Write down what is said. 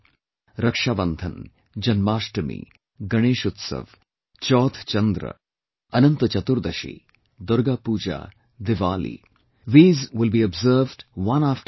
Rakshabandhan, Janmashtami, Ganesh Utsav, Chauth Chandra, Anant Chaturdashi, Durga Pooja, Diwali these will be observed one after the other